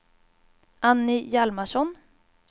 Anny Hjalmarsson